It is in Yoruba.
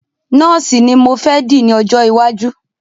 Nọ́ọ̀sì ní mo fẹ́ di ní ọjọ́ iwájú.